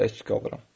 Tək qalıram.